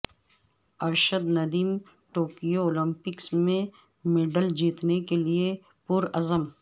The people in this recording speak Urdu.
ارشد ندیم ٹوکیو اولمپکس میں میڈل جیتنے کیلئے پرعزم